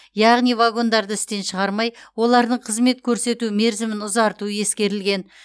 яғни вагондарды істен шығармай олардың қызмет көрсету мерзімін ұзарту ескерілген